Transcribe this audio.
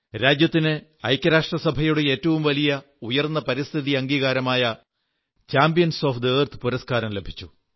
രാജ്യത്തിന് ഐക്യരാഷ്ട്രസഭയുടെ ഏറ്റവും ഉയർന്ന പരിസ്ഥിതി അംഗീകാരമായ ചാമ്പ്യൻസ് ഓഫ് ദ എർത്ത് പുരസ്കാരം ലഭിച്ചു